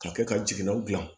Ka kɛ ka jiginɛw gilan